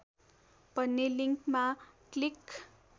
भन्ने लिङ्कमा क्लिक